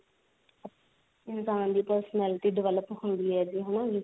ਇਨਸਾਨ ਦੀ personality develop ਹੁੰਦੀ ਹੈ ਹਨਾ